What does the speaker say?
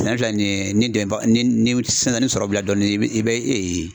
Sɛnɛ filɛ nin ye ni dɛmɛnbaga ni ni sisan sisan ni sɔrɔ bila dɔɔni i bɛ i bɛ